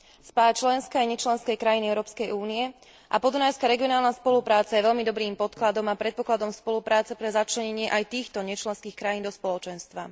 Spája členské aj nečlenské krajiny Európskej únie a podunajská regionálna spolupráca je veľmi dobrým podkladom a predpokladom spolupráce pre začlenenie aj týchto nečlenských krajín do Spoločenstva.